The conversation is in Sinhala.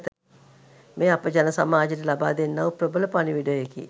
මෙය අප ජනසමාජයට ලබාදෙන්නා වූ ප්‍රබල පණිවිඩයකි.